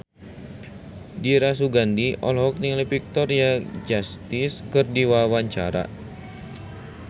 Dira Sugandi olohok ningali Victoria Justice keur diwawancara